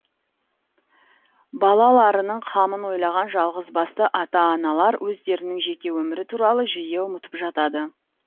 балаларының қамын ойлаған жалғыз басты ата аналар өздерінің жеке өмірі туралы жиі ұмытып жатады